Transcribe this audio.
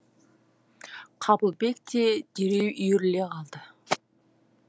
қабылбек те дереу үйіріле қалды